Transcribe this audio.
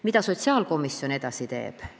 Mida sotsiaalkomisjon edasi teeb?